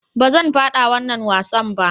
"Ba zan fada wannan wasan ba."